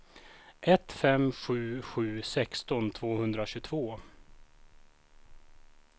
ett fem sju sju sexton tvåhundratjugotvå